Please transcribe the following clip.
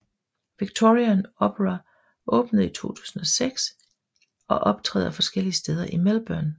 Victorian Opera åbnede i 2006 og optræder forskellige steder i Melbourne